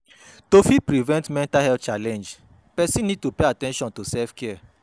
To fit prevent mental health challenge, person need to pay at ten tion to self care